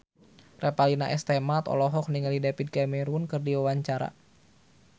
Revalina S. Temat olohok ningali David Cameron keur diwawancara